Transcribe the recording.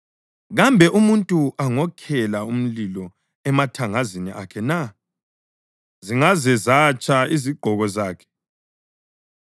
Kambe umuntu angokhela umlilo emathangazini akhe na zingaze zatsha izigqoko zakhe?